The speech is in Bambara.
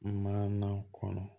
Maana kɔnɔ